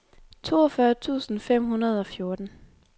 toogfyrre tusind fem hundrede og fjorten